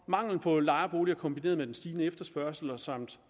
mangel på lejeboliger kombineret med den stigende efterspørgsel samt